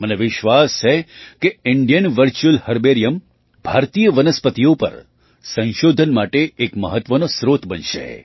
મને વિશ્વાસ છે કે ઇન્ડિયન વર્ચ્યુઅલ હર્બેરિયમ ભારતીય વનસ્પતિઓ પર સંશોધન માટે એક મહત્ત્વનો સ્રોત બનશે